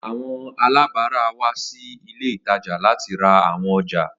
Awọn alabara wa si ile itaja lati ra awọn ọja.